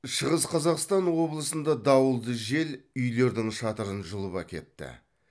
шығыс қазақсатн облысында дауылды жел үйлердің шатырын жұлып әкетті